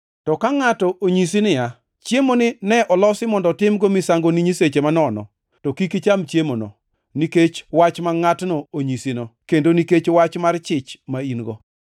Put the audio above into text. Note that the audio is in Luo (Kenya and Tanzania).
To ka ngʼato onyisi niya, “Chiemoni ne olosi mondo otimgo misango ne nyiseche manono,” to kik icham chiemono, nikech wach ma ngʼatno onyisino, kendo nikech wach mar chich ma in-go.